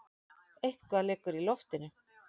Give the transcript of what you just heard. Eitthvað liggur í loftinu!